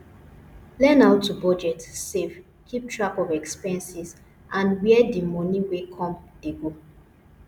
learn how to budget save keep track of expenses and where di money wey come dey go